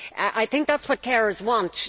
I think that is what carers want.